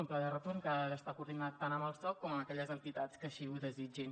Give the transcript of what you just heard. un pla de retorn que ha d’estar coordinat tant amb el soc com amb aquelles entitats que així ho desitgin